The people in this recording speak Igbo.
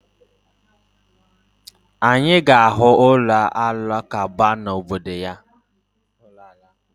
Anyị ga-ahụ ụlọ Alakụba na obodo ya